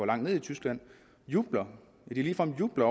langt nede i tyskland jubler ja de ligefrem jubler